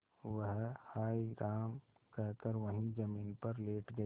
वह हाय राम कहकर वहीं जमीन पर लेट गई